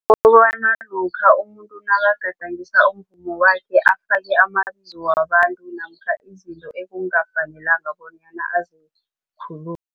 lokha umuntu nakagadangisa umvumo wakhe afake amabizo wabantu namkha izinto ekungafanelanga bonyana azikhulume.